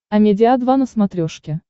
амедиа два на смотрешке